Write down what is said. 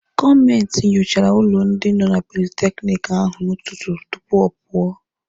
Gọọmenti nyochara ụlọ ndị nọ na politekiniki ahụ n'ụtụtụ tupu ọ pụọ.